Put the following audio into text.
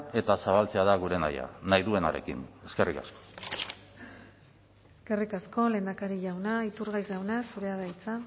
eta zabaltzea da gure nahia nahi duenarekin eskerrik asko eskerrik asko lehendakari jauna iturgaiz jauna zurea da hitza